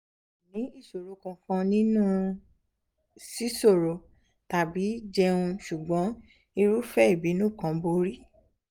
mi ò ní ìṣòro kankan nínú sísọ̀rọ̀ tàbí jẹun ṣùgbọ́n irúfẹ́ ìbínú kan borí